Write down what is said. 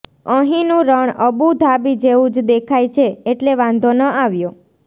અહીંનું રણ Abu Dhabi જેવું જ દેખાય છે એટલે વાંધો ન આવ્યો